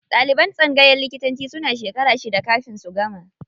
Ɗaliban tsangayan likitanci suna shekara shida kafin su gama.